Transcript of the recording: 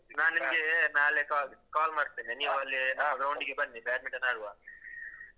ನಾನ್ ನಿಮ್ಗೆ ನಾಳೆ call call ಮಾಡ್ತೇನೆ ನೀವಲ್ಲಿ ground ಗೆ ಬನ್ನಿ badminton ಆಡುವ.